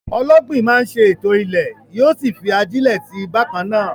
Ọlọ́gbìn máa ń ṣètò ilẹ̀, yóò sì fi ajílẹ̀ sí i bákan náà.